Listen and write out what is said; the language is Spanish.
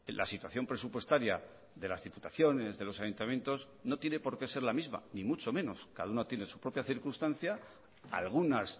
la situación presupuestaria de las diputaciones de los ayuntamientos no tiene por qué ser la misma ni mucho menos cada una tiene su propia circunstancia algunas